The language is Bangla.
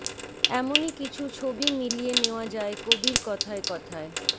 এমনই কিছু ছবি মিলিয়ে নেওয়া যায় কবির কথায় কথায়